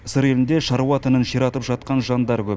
сыр елінде шаруа тінін ширатып жатқан жандар көп